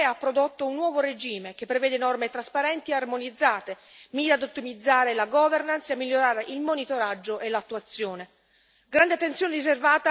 La cooperazione tra le istituzioni europee ha prodotto un nuovo regime che prevede norme trasparenti e armonizzate, mira ad ottimizzare la governance e a migliorare il monitoraggio e l'attuazione.